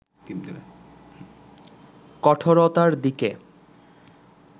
কঠোরতার দিকে